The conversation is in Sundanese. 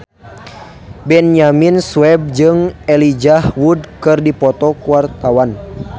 Benyamin Sueb jeung Elijah Wood keur dipoto ku wartawan